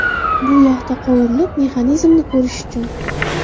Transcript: Bu yog‘da qovurilib, mexanizmini ko‘rish uchun.